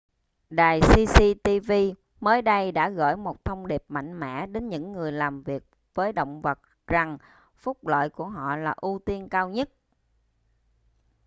đài cctv mới đây đã gửi một thông điệp mạnh mẽ đến những người làm việc với động vật rằng phúc lợi của họ là ưu tiên cao nhất